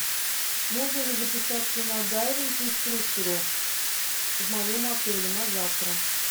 можно ли записаться на дайвинг к инструктору в моем отеле на завтра